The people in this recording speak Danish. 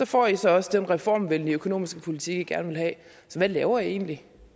får i så også den reformvenlige økonomiske politik i gerne vil have så hvad laver i egentlig